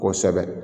Kosɛbɛ